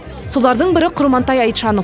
солардың бірі құрмантай айтжанов